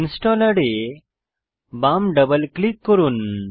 installer এ বাম double click করুন